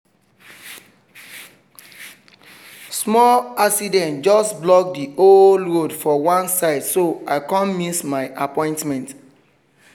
small accident just block the whole road for one side so i come miss my appointment